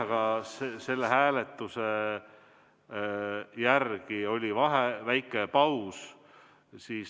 Aga selle hääletuse järel oli väike paus.